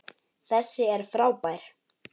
Þessi er frábær!